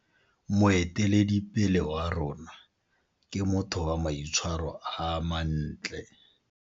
Moeteledipele wa rona ke motho wa maitshwaro a mantle.